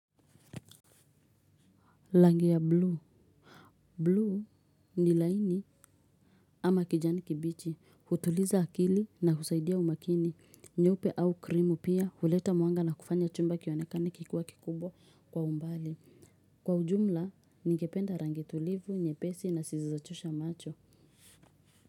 Langi ya blue. Blue ni laini ama kijani kibichi. Hutuliza akili na husaidia umakini. Nyope au krimu pia huleta muanga na kufanya chumba kionekani kikuwa kikubwa kwa umbali. Kwa ujumla, nigependa rangi tulivu, nyepesi na sisizochosha macho.